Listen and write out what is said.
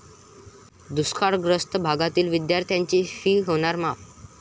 दुष्काळग्रस्त भागातील विद्यार्थ्यांची 'फी' होणार माफ!